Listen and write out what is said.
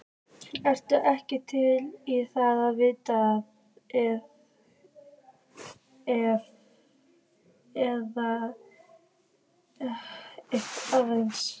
Ertu ekki til í að viðra þig aðeins?